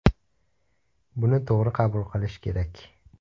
Buni to‘g‘ri qabul qilish kerak.